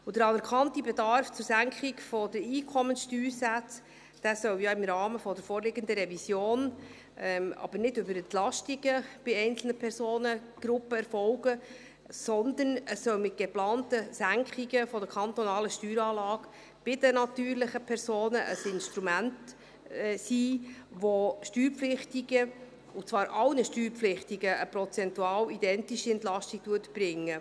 Der anerkannte Betrag zur Senkung der Einkommensteuersätze soll ja im Rahmen der vorliegenden Revision erfolgen, aber nicht über Entlastungen bei einzelnen Personengruppen, sondern er soll mit geplanten Senkungen der kantonalen Steueranlage bei den natürlichen Personen ein Instrument sein, das Steuerpflichtigen, und zwar allen Steuerpflichtigen, eine prozentual identische Entlastung bringt.